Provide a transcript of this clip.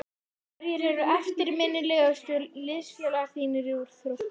Hverjir eru eftirminnilegustu liðsfélagar þínir úr Þrótti?